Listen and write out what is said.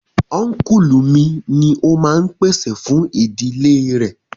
Únkùlù mi ni o máa n pèsè fún ìdílé rẹ̀